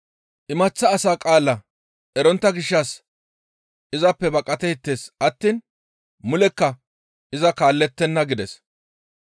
Imaththa asa qaala erontta gishshas izappe baqateettes attiin mulekka iza kaallettenna» gides.